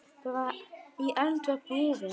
Bara í eldra búri.